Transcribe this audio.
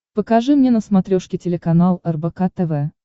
покажи мне на смотрешке телеканал рбк тв